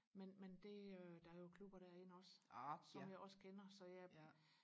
men men det øh der er jo klubber derinde også som jeg også kender så jeg